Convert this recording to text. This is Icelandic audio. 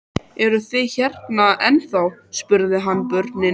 Eruð þið hérna ennþá? spurði hann börnin.